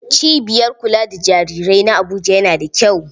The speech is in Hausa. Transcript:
Cibiyar kula da jarirai na Abuja yana da kyau.